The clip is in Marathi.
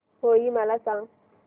होळी मला सांगा